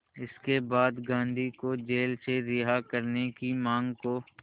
इसके बाद गांधी को जेल से रिहा करने की मांग को